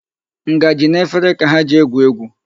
Ngaji na efere ka ha ji egwu egwu.